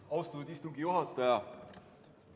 Austatud istungi juhataja!